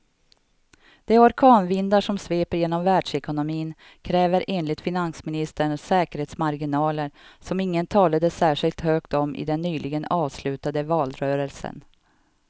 De orkanvindar som sveper genom världsekonomin kräver enligt finansministern säkerhetsmarginaler som ingen talade särskilt högt om i den nyligen avslutade valrörelsen.